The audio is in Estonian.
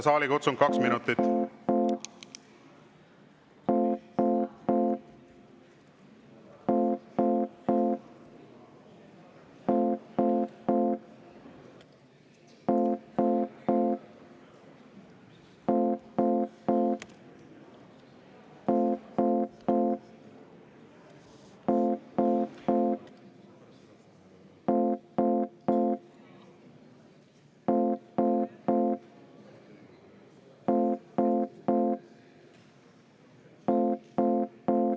Saalikutsung kaks minutit.